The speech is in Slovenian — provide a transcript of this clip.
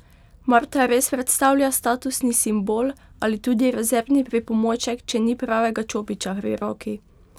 Mar ta res predstavlja statusni simbol ali tudi rezervni pripomoček, če ni pravega čopiča pri roki?